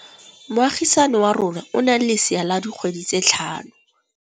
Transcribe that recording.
Moagisane wa rona o na le lesea la dikgwedi tse tlhano.